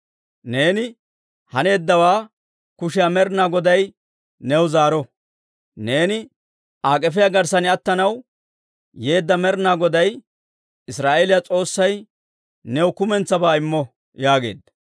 Neeni haneeddawaa kushiyaa Med'inaa Goday new zaaro. Neeni Aa k'efiyaa garssan attanaw yeedda Med'inaa Goday, Israa'eeliyaa S'oossay new kumentsabaa immo» yaageedda.